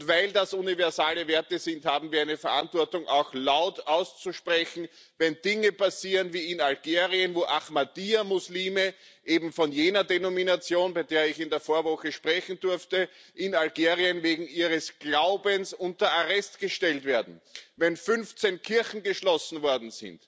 Weil das universale Werte sind, haben wir eine Verantwortung, auch laut auszusprechen, wenn Dinge wie in Algerien passieren, wo Ahmadiyya Muslime eben von jener Denomination, bei der ich in der Vorwoche sprechen durfte in Algerien wegen ihres Glaubens unter Arrest gestellt werden. Wenn 15 Kirchen geschlossen werden,